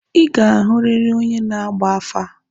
Ị ga-ahụrịrị onye na-agba afa!